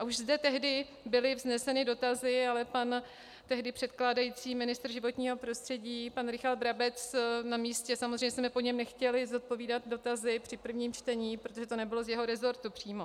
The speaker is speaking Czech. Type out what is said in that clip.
A už zde tehdy byly vzneseny dotazy, ale pan tehdy předkládající ministr životního prostředí, pan Richard Brabec, na místě samozřejmě jsme po něm nechtěli zodpovídat dotazy při prvním čtení, protože to nebylo z jeho resortu přímo.